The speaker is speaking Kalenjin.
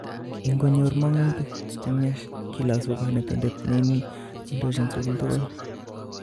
Ingonyor mongutiik chemyach kilosu konetindet neindochin sugul tugul